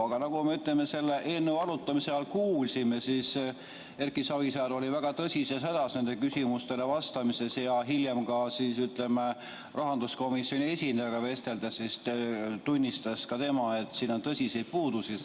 Aga nagu me selle eelnõu arutamise ajal kuulsime, oli Erki Savisaar küsimustele vastates väga tõsises hädas ja hiljem tema kui rahanduskomisjoni esindajaga vesteldes tunnistas ta, et sellel eelnõul on tõsiseid puudusi ...